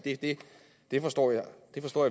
det forstår jeg